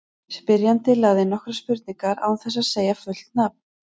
Spyrjandi lagði inn nokkrar spurningar án þess að segja fullt nafn.